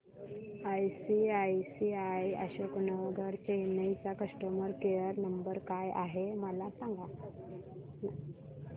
ICICI Ashok Nagar Chennai चा customer care number काय आहे मला सांगाना